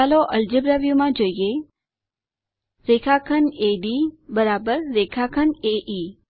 ચાલો અલ્જેબ્રા વ્યુમાં જોઈએ રેખાખંડ એડી રેખાખંડ એઇ